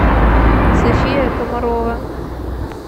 софия комарова